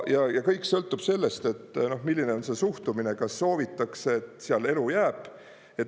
Ja kõik sõltub sellest, milline on suhtumine, kas soovitakse, et seal elu jääb.